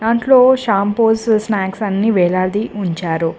దాంట్లో shampoos snacks అన్నీ వేలాడి ఉంచారు.